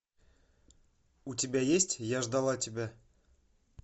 у тебя есть я ждала тебя